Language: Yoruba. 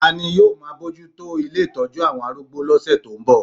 Ta ni yóò máa bójú tó ilé ìtọ́jú àwọn arúgbó lọ́sẹ̀ tó ń bọ̀?